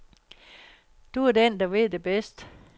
Du er den, der ved det bedst.